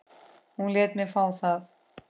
Hún lét mig fá það.